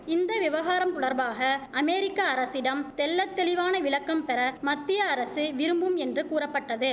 இந்த விவகாரம் தொடர்பாக அமேரிக்க அரசிடம் தெள்ள தெளிவான விளக்கம்பெற மத்திய அரசு விரும்பும் என்று கூறப்பட்டது